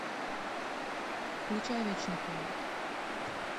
включай вечный холод